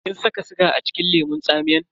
Kin saka siga acikin lemun tsamiyan?